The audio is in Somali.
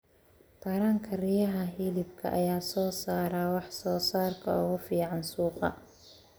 Taranka riyaha hilibka ayaa soo saara wax soo saarka ugu fiican suuqa.